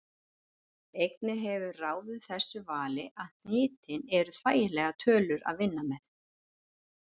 Einnig hefur ráðið þessu vali að hnitin eru þægilegar tölur að vinna með.